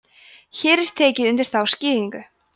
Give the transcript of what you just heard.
hér er tekið undir þá skýringu